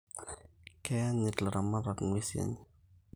Keyanyit ilaramatak nguesin enye